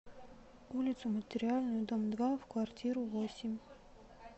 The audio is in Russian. улицу материальную дом два в квартиру восемь